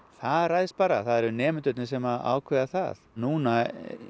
það ræðst bara það eru nemendurnir sem að ákveða það við núna